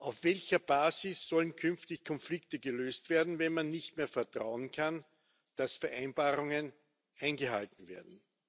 Auf welcher Basis sollen künftig Konflikte gelöst werden, wenn man nicht mehr darauf vertrauen kann, dass Vereinbarungen eingehalten werden?